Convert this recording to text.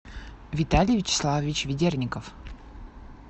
виталий вячеславович ведерников